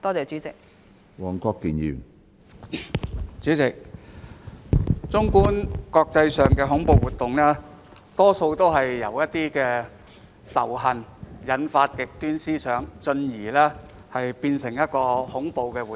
主席，綜觀國際上的恐怖活動，大多是由仇恨引發極端思想，進而變成恐怖活動。